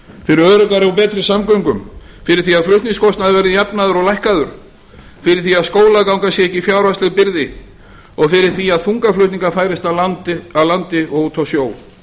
fyrir öruggari og betri samgöngum fyrir því að flutningskostnaður verði jafnaður og lækkaður fyrir því að skólaganga sé ekki fjárhagsleg byrði og fyrir því að þungaflutningar færist af landi og út á sjó